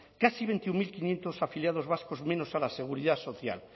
casi veintiuno mil quinientos afiliados vascos menos a la seguridad social